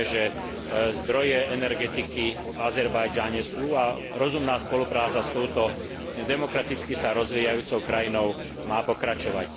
Vieme, že zdroje energetiky v Azerbajdžane sú a rozumná spolupráca s touto demokraticky sa rozvíjajúcou krajinou má pokračovať.